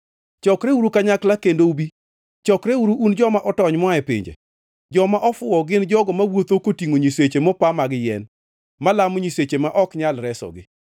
“Chokreuru kanyakla kendo ubi; chokreuru, un joma otony moa e pinje. Joma ofuwo gin jogo mawuotho kotingʼo nyiseche mopa mag yien, malamo nyiseche ma ok nyal resogi.